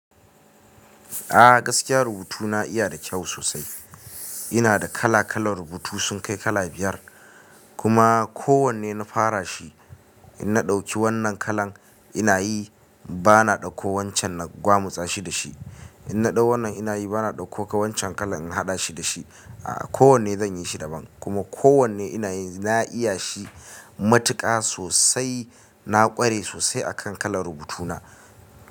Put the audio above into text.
A gaskiya rubutu na yana da kyau sosai. Ina da kala-kalan rubutu sun kai kala biyar, kuma kowanne na fara shi. In na ɗauki wannan kalan ina yi, bana ɗauko wancan na gwamutsa shi da shi. In na ɗau wannan ina yi bana ɗauko wancan kalan in haɗa shi da shi. A ko wanne zan yi shi daban, kuma ko wanne ina yi na iya shi matuƙa sosai. Na ƙware sosai a kan kalan rubutu na.